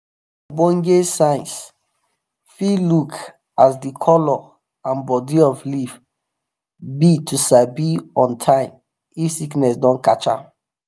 ogbonge science fit look as di color and bodi of leaf be to sabi on time if sickness don catch am